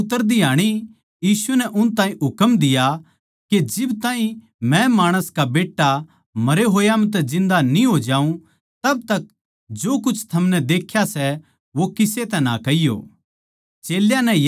पहाड़ तै उतरदी आणी यीशु नै उन ताहीं हुकम दिया के जिब ताहीं मै माणस का बेट्टा मरे होया म्ह तै जिन्दा न्ही हो जाऊँगा तब तक जो कुछ थमनै देख्या सै वो किसे तै ना कहियो